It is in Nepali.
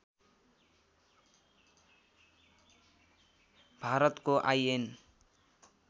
भारतको आइएन